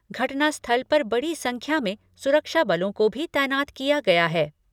घटना स्थल पर बड़ी संख्या में सुरक्षा बलों को भी तैनात किया गया है।